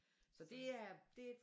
Så det er det